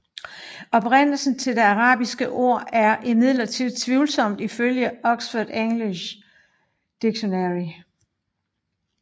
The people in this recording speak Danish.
Oprindelsen til det arabiske ord er imidlertid tvivlsomt ifølge Oxford English Dictionary